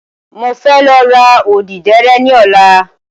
Mo fẹ́ lọ ra odíderé ní ọ̀la